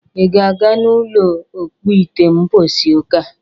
Ị ga-aga n'ụlọ ọkpụite mbọsi ụka?